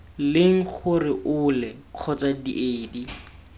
leng gore ole kgotsa diedi